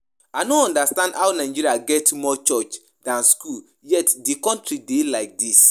I no understand how Nigeria get more church dan school yet the country dey like dis